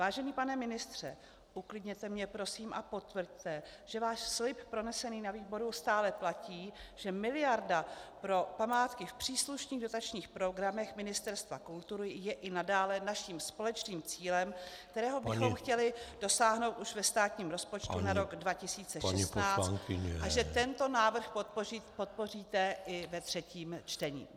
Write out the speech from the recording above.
Vážený pane ministře, uklidněte mě prosím a potvrďte, že váš slib pronesený na výboru stále platí, že miliarda pro památky v příslušných dotačních programech Ministerstva kultury je i nadále naším společným cílem , kterého bychom chtěli dosáhnout už ve státním rozpočtu na rok 2016, a že tento návrh podpoříte i ve třetím čtení.